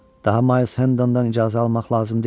Daha Miles Hendondan icazə almaq lazım deyil.